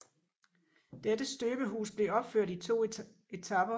Dette støbehus blev opført i to etaper